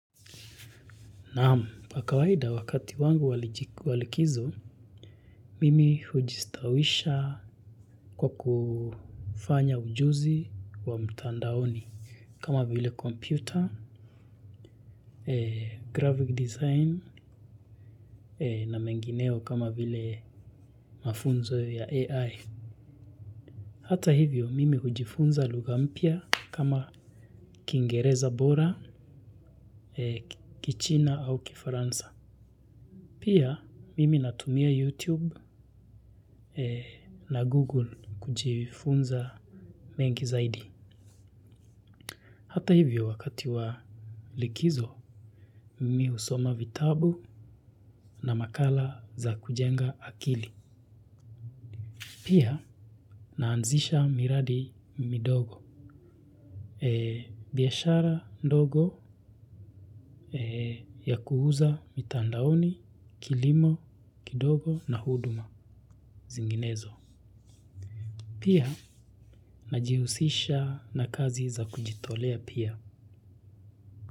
Naam, kwa kawaida wakati wangu wa likizo, mimi hujistawisha kwa kufanya ujuzi wa mtandaoni kama vile komputa, 'graphic design' na mengineo kama vile mafunzo ya 'AI'. Hata hivyo, mimi hujifunza lugha mpya kama kiingereza bora, kichina au kifaransa. Pia, mimi natumia 'YouTube' na 'Google' kujifunza mengi zaidi. Hata hivyo, wakati wa likizo, mimi husoma vitabu na makala za kujenga akili. Pia, naanzisha miradi midogo. Biashara ndogo ya kuuza mitandaoni, kilimo kidogo na huduma zinginezo. Pia, najihusisha na kazi za kujitolea pia.